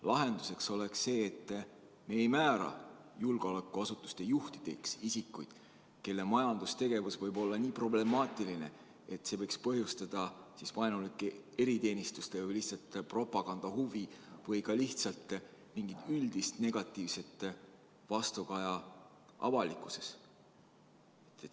Lahendus oleks see, et me ei määra julgeolekuasutuste juhtideks isikuid, kelle majandustegevus võib olla nii problemaatiline, et see võiks tekitada vaenulike eriteenistuste või lihtsalt propaganda huvi või ka lihtsalt üldist negatiivset vastukaja avalikkuses.